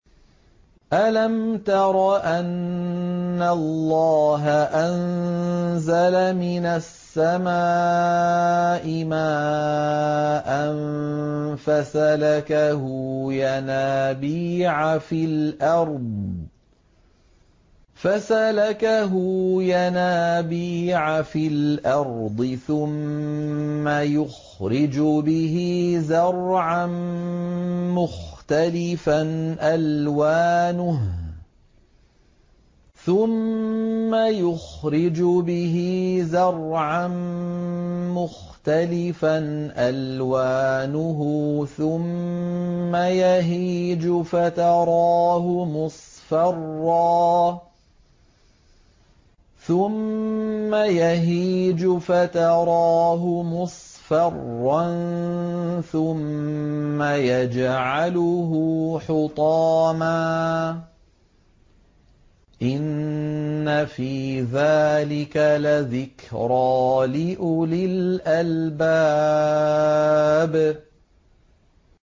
أَلَمْ تَرَ أَنَّ اللَّهَ أَنزَلَ مِنَ السَّمَاءِ مَاءً فَسَلَكَهُ يَنَابِيعَ فِي الْأَرْضِ ثُمَّ يُخْرِجُ بِهِ زَرْعًا مُّخْتَلِفًا أَلْوَانُهُ ثُمَّ يَهِيجُ فَتَرَاهُ مُصْفَرًّا ثُمَّ يَجْعَلُهُ حُطَامًا ۚ إِنَّ فِي ذَٰلِكَ لَذِكْرَىٰ لِأُولِي الْأَلْبَابِ